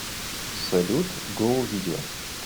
салют гоу видео